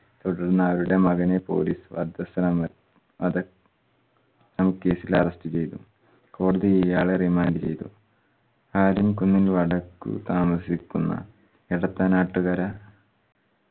തുടർന് അവരുടെ മകനെ police വധശ്രമ മത നും case ഇൽ arrest ചെയ്തു. കോടതി ഇയാളെ remand ചെയ്തു. ആരുംകുന്നിന്